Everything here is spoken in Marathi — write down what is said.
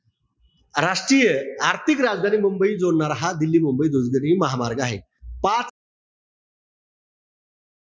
राष्ट्रीय आर्थिक राजधानी मुंबई जोडणारा हा दिल्ली-मुंबई द्रुतगती महामार्ग आहे.